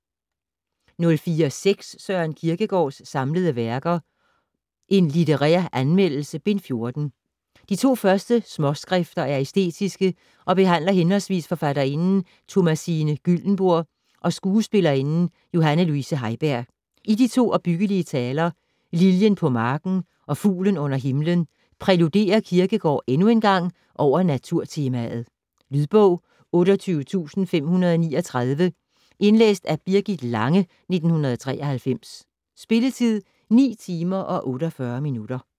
04.6 Kierkegaard, Søren: Samlede Værker: En literair Anmeldelse: Bind 14 De to første småskrifter er æstetiske og behandler henholdsvis forfatterinden Thomasine Gyldenbourg og skuespillerinden Johanne Luise Heiberg. I de to opbyggelige taler "Liljen på Marken" og "Fuglen under Himlen" præluderer Kierkegård endnu engang over naturtemaet. Lydbog 28539 Indlæst af Birgit Lange, 1993. Spilletid: 9 timer, 48 minutter.